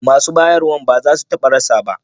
Masu bayarwa ba za su taɓa rasa ba